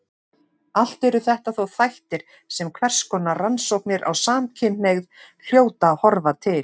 Allt eru þetta þó þættir sem hverskonar rannsóknir á samkynhneigð hljóta að horfa til.